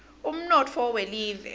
umnotfo welive